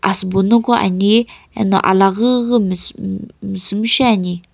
asübo noqo ani eno alaghüghü mis mh misumshe ani.